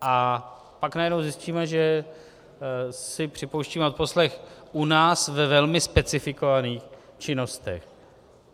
A pak najednou zjistíme, že si připouštíme odposlech u nás ve velmi specifikovaných činnostech.